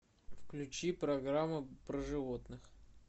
включи программу про животных